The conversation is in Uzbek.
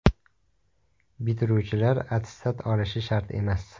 Bitiruvchilar attestat olishi shart emas .